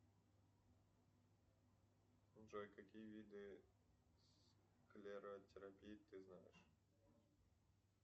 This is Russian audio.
джой какие виды склеротерапии ты знаешь